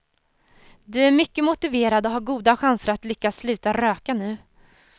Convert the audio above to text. Du är mycket motiverad och har goda chanser att lyckas sluta röka nu.